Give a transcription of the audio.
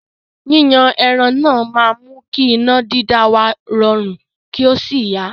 ́Yíyan ẹran náà máa mú kí iná dídá wa rọrun, kí ó sì yá.